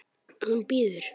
Hún bíður!